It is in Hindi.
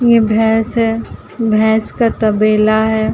ये भैस है। भैस का तबेला है।